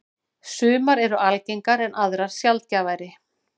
Sumar eru algengar en aðrar sjaldgæfari.